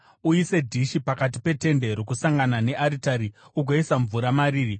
uise dhishi pakati peTende Rokusangana nearitari ugoisa mvura mariri.